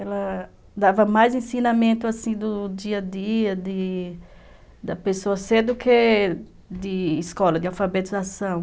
Ela dava mais ensinamento assim do dia a dia de da pessoa ser do que de escola, de alfabetização.